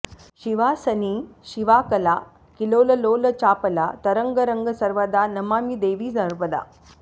शिवासनी शिवाकला किलोललोल चापला तरङ्ग रङ्ग सर्वदा नमामि देवि नर्मदा